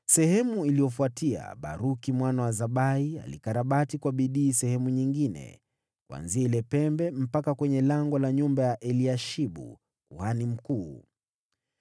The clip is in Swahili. Baada yake, Baruku mwana wa Zakai alikarabati kwa bidii sehemu nyingine kuanzia ile pembe, mpaka kwenye lango la nyumba ya Eliashibu kuhani mkuu.